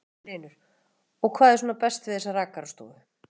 Magnús Hlynur: Og hvað er svona best við þessa rakarastofu?